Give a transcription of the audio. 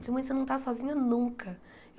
Mãe, você não está sozinha nunca.